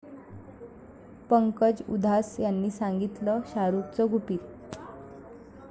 पंकज उधास यांनी सांगितलं शाहरुखचं गुपित